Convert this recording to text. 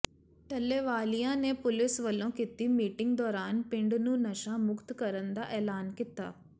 ਟੱਲੇਵਾਲੀਆਂ ਨੇ ਪੁਲਿਸ ਵੱਲੋਂ ਕੀਤੀ ਮੀਟਿੰਗ ਦੌਰਾਨ ਪਿੰਡ ਨੂੰ ਨਸ਼ਾ ਮੁਕਤ ਕਰਨ ਦਾ ਐਲਾਨ ਕੀਤਾ